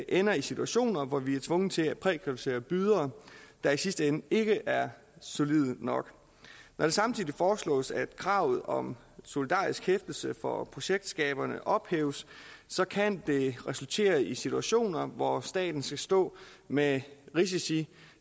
ender i situationer hvor vi er tvunget til at prækvalificere bydere der i sidste ende ikke er solide nok når det samtidig foreslås at kravet om solidarisk hæftelse for projektskaberne ophæves så kan det resultere i situationer hvor staten står med risici